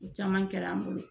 O caman kɛra an bolo